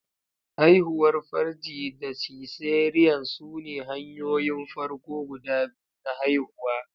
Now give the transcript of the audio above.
Haihuwar farji da cesarean sune hanyoyin farko guda biyu na haihuwa.